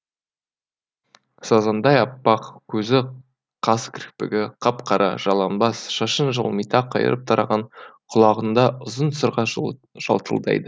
сазандай аппақ көзі қас кірпігі қап қара жалаңбас шашын жылмита қайырып тараған құлағында ұзын сырға жалтылдайды